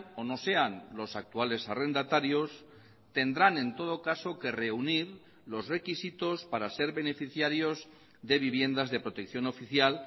o no sean los actuales arrendatarios tendrán en todo caso que reunir los requisitos para ser beneficiarios de viviendas de protección oficial